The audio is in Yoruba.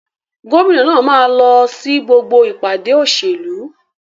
Gómìnà náà máa ń lọ sí gbogbo ìpàdé òṣèlú.